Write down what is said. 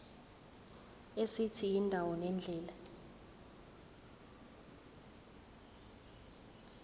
esithi indawo nendlela